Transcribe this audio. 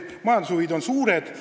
Majandushuvid on suured.